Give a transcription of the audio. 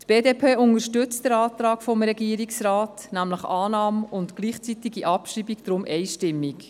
Die BDP unterstützt den Antrag des Regierungsrats auf Annahme und gleichzeitige Abschreibung deshalb einstimmig.